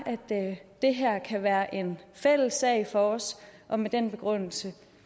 at det her kan være en fælles sag for os og med den begrundelse